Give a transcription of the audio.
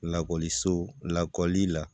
Lakɔliso lakɔli la